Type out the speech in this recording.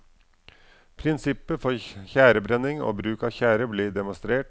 Prinsipper for tjærebrenning og bruk av tjære blir demonstrert.